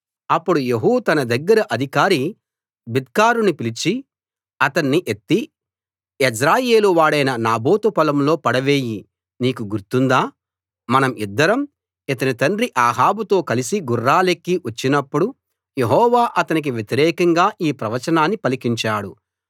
అప్పుడు యెహూ తన దగ్గర అధికారి బిద్కరుని పిలిచి అతణ్ణి ఎత్తి యెజ్రెయేలు వాడైన నాబోతు పొలంలో పడవేయి నీకు గుర్తుందా మనం ఇద్దరం ఇతని తండ్రి అహాబుతో కలసి గుర్రాలెక్కి వచ్చినప్పుడు యెహోవా అతనికి వ్యతిరేకంగా ఈ ప్రవచనాన్ని పలికించాడు